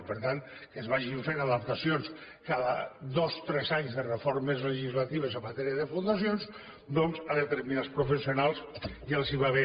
i per tant que es vagin fent adaptacions cada dos tres anys de reformes legislatives en matèria de fundacions doncs a determinats professionals ja els va bé